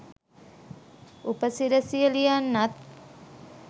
උපසිරැසිය ලියන්නත්